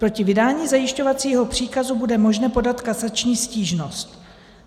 Proti vydání zajišťovacího příkazu bude možné podat kasační stížnost.